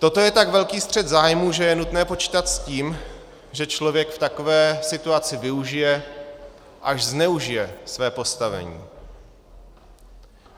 Toto je tak velký střet zájmů, že je nutné počítat s tím, že člověk v takové situaci využije, až zneužije své postavení.